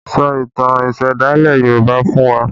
Sọ ìtàn ìsẹ̀dálẹ̀ Yoruba fún wa!